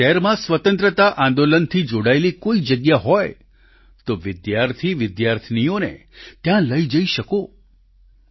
આપના શહેરમાં સ્વતંત્રતા આંદોલનથી જોડાયેલી કોઈ જગ્યા હોય તો વિદ્યાર્થીવિદ્યાર્થીનીઓને ત્યાં લઈ જઈ શકો છો